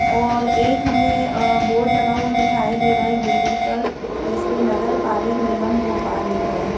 और एक हमें बोर्ड लगा हुआ दिखाई दे रहा है एक बिल्डिंग पर जिस पे नगरपालिक निगम भोपाल लिखा है।